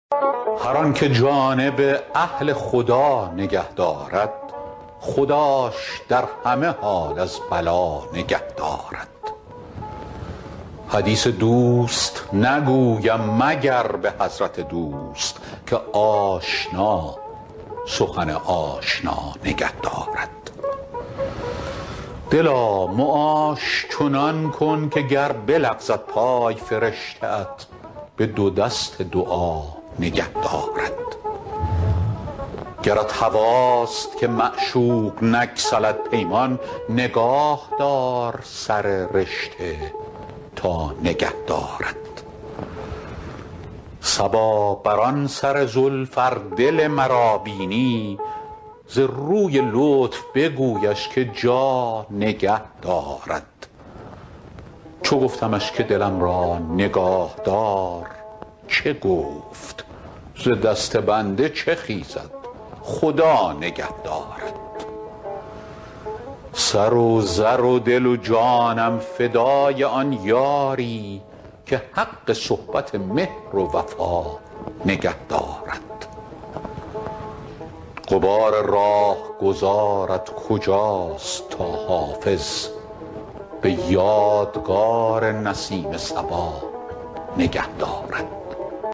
هر آن که جانب اهل خدا نگه دارد خداش در همه حال از بلا نگه دارد حدیث دوست نگویم مگر به حضرت دوست که آشنا سخن آشنا نگه دارد دلا معاش چنان کن که گر بلغزد پای فرشته ات به دو دست دعا نگه دارد گرت هواست که معشوق نگسلد پیمان نگاه دار سر رشته تا نگه دارد صبا بر آن سر زلف ار دل مرا بینی ز روی لطف بگویش که جا نگه دارد چو گفتمش که دلم را نگاه دار چه گفت ز دست بنده چه خیزد خدا نگه دارد سر و زر و دل و جانم فدای آن یاری که حق صحبت مهر و وفا نگه دارد غبار راهگذارت کجاست تا حافظ به یادگار نسیم صبا نگه دارد